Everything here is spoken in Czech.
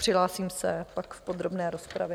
Přihlásím se pak v podrobné rozpravě.